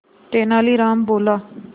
तेनालीराम बोला